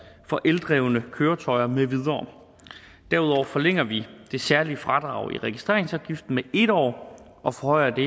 for eldrevne køretøjer med videre derudover forlænger vi det særlige fradrag i registreringsafgiften med en år og forhøjer det